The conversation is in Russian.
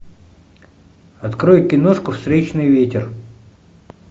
открой киношку встречный ветер